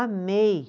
Amei.